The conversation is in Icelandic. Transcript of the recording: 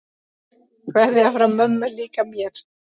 Kveðja frá mömmu líka mér.